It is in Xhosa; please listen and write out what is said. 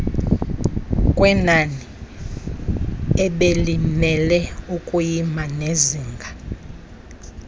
kwenaniebelimele ukuyima enezinga